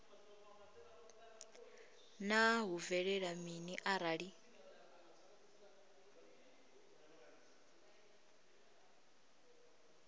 naa hu bvelela mini arali